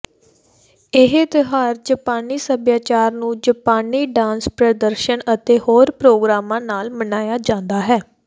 ਇਹ ਤਿਉਹਾਰ ਜਾਪਾਨੀ ਸੱਭਿਆਚਾਰ ਨੂੰ ਜਾਪਾਨੀ ਡਾਂਸ ਪ੍ਰਦਰਸ਼ਨ ਅਤੇ ਹੋਰ ਪ੍ਰੋਗਰਾਮਾਂ ਨਾਲ ਮਨਾਇਆ ਜਾਂਦਾ ਹੈ